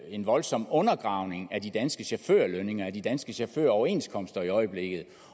en voldsom undergravning af de danske chaufførlønninger af de danske chaufføroverenskomster i øjeblikket